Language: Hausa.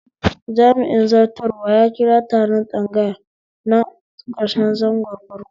Jami'in zartarwa ya kira taron tsagaya na karshen zangon farko